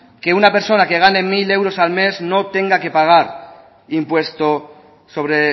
que una persona que gane mil euros al mes no tenga que pagar impuesto sobre